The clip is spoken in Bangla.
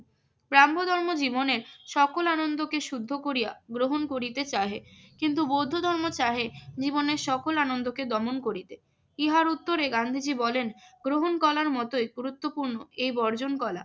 ব্রাহ্ম ধর্ম জীবনের সকল আনন্দকে শুদ্ধ করিয়া গ্রহণ করিতে চাহে। কিন্তু বৌদ্ধ ধর্ম চাহে জীবনের সকল আনন্দকে দমন করিতে। ইহার উত্তরে গান্ধীজি বলেন, গ্রহণ কলার মতোই গুরুত্বপূর্ণ এই বর্জন কলা।